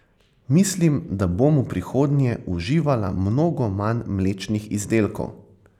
Mislim, da bom v prihodnje uživala mnogo manj mlečnih izdelkov.